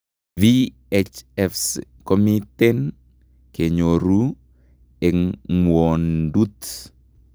VHFs komiten kenyoruu eng' ngwondut